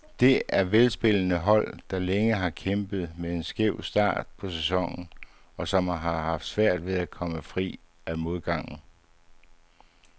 Det er velspillende hold, der længe har kæmpet med en skæv start på sæsonen, og som har haft svært ved at komme fri af modgangen.